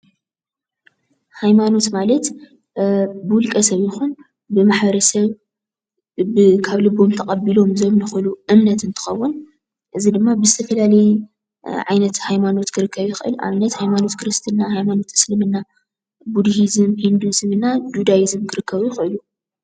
ሃይማኖት ማለት ብውልቀ ሰብ ይኹን ብማሕበረሰብ ካብ ልቦም ተቀቢሎም ዘምልክሉ እምነት እንትኸውን፣ እዚ ድማ ብዝተፈላለዩ ዓይነት ሃይማኖት ክርከብ ይኽእል። ንኣብነት ሃይማኖት ክርስትና፣ ሃይማኖት እስልምና ፣ቡዲህዝም ፣ ህንዲሂዝም እና ዱዳይዝም ክርከቡ ይኽእሉ።